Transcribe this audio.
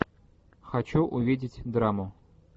хочу увидеть драму